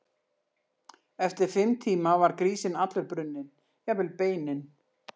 Eftir fimm tíma var grísinn allur brunninn, jafnvel beinin.